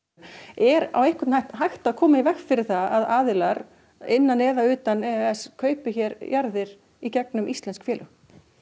er á einhvern hátt hægt að koma í veg fyrir að aðilar innan eða utan e e s kaupi hér jarðir í gegnum íslensk félög